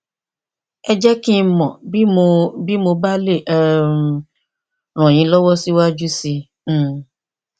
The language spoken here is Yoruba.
ẹ jẹ kí n mọ bí mo bí mo bá lè um ràn yín lọwọ síwájú sí i um